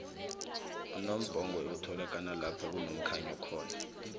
unambhongwe utholakala lapho kunomkhanyo khona